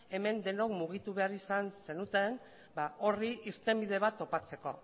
hemen denok mugitu behar izan zenuten eta horri irtenbide bat topatzeko